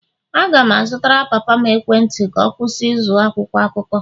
Aga m azụtara papa m ekwentị ka ọ kwụsị ịzụ akwụkwọ akụkọ